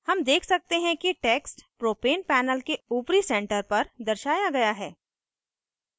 हम देख सकते हैं कि text propane panel के ऊपरी center पर दर्शाया गया है